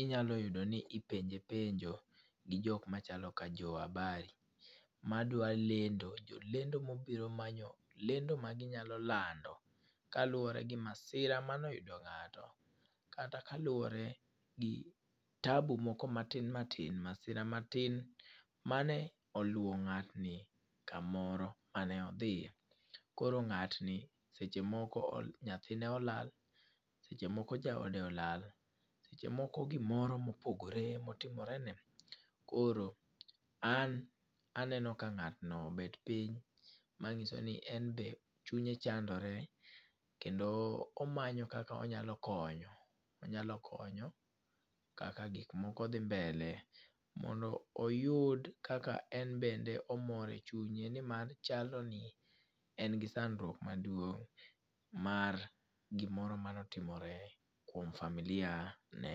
inyalo yudo ni ipenje penjo gi jok machalo ka jo habari. Madwa lendo, jo lendo ma obiro manyo lendo ma ginyalo lando, kaluwore gi masira mane oyudo ngáto. Kata kaluwore gi tabu moko matin matin, masira matin mane oluwo ngátni kamoro mane odhiye. Koro ngátni, seche moko nyathine olal, seche moko jaode olal, seche moko gimoro mopogore motimore ne. Koro an aneno ka ngátno obet piny, manyiso ni en be chunye chandore, kendo omanyo kaka onyalo konyo, onyalo konyo kaka gik moko dhi mbele, mondo oyud kaka en bende omor e chuyne, ni mar chalo ni en gi sandruok maduong' mar gimoro mane otimore kuom familia ne.